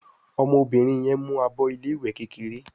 ọmọbìnrin yén mú àbọ ilé ìwé kékeré